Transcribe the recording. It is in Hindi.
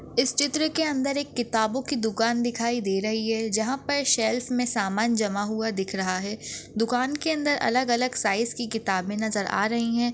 इस चित्र के अंदर एक किताबों की दुकान दिखाई दे रही है जहा पे शेल्स मे सामान जमा हुआ दिख रहा है दुकान के अंदर अलग- अलग साइज़ की किताबे नजर आ रही है।